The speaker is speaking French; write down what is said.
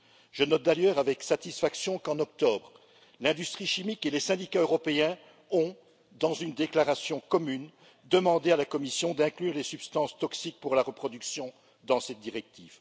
Je note d'ailleurs avec satisfaction qu'en octobre, l'industrie chimique et les syndicats européens ont, dans une déclaration commune, demandé à la Commission d'inclure les substances toxiques pour la reproduction dans cette directive.